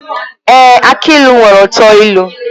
Èé! Aki ilu nwere uto ilu.